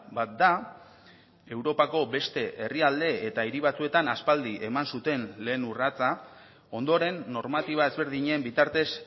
bat da europako beste herrialde eta hiri batzuetan aspaldi eman zuten lehen urratsa ondoren normatiba ezberdinen bitartez